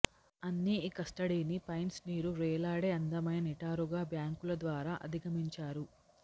అన్ని ఈ కస్టడీని పైన్స్ నీరు వ్రేలాడే అందమైన నిటారుగా బ్యాంకులు ద్వారా అధిగమించారు